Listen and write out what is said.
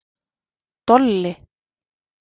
Dolli